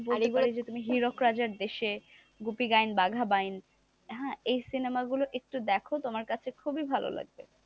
বলতে পারি যে তুমি হীরক রাজার দেশে, গোপী গাইন বাঘা বাইন এই সিনেমা গুলো একটু দেখো তোমার কাছে খুবই ভালো লাগবে,